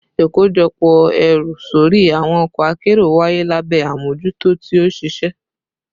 Ikojọpọ ẹru sori awọn ọkọ akero waye labẹ amojuto ti oṣiṣẹ